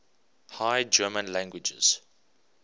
high german languages